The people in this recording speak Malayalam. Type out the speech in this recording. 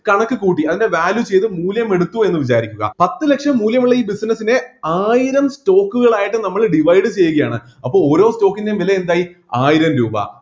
കണക്ക് കൂട്ടി അതിൻ്റെ value ചെയ്‌ത്‌ മൂല്യം എടുത്തു എന്ന് വിചാരിക്കുക പത്ത് ലക്ഷം മൂല്യമുള്ള ഈ business നെ ആയിരം stock കളായിട്ട് നമ്മൾ divide ചെയ്യുകയാണ് അപ്പൊ ഓരോ stock ൻ്റെയും വില എന്തായി ആയിരം രൂപ